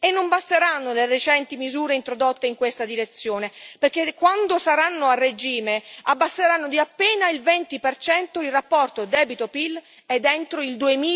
Non basteranno le recenti misure introdotte in questa direzione, perché quando saranno a regime abbasseranno di appena il 20 il rapporto debito PIL entro il